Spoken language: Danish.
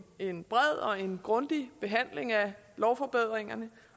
en bred og en grundig behandling af lovforbedringerne